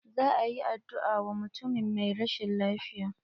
Za a yi addu'a wa mutumin mai rashin lafiya.